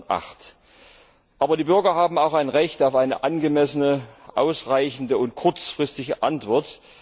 2008. Aber die Bürger haben auch ein Recht auf eine angemessene, ausreichende und kurzfristige Antwort.